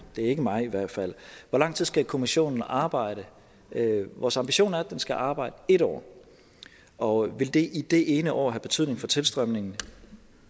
det er ikke mig i hvert fald hvor lang tid skal kommissionen arbejde vores ambition er at den skal arbejde en år og vil det i det ene år have betydning for tilstrømningen